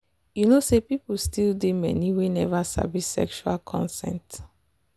you know say people still dey many we never sabi sexual consent.